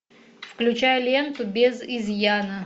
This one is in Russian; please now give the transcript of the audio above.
включай ленту без изъяна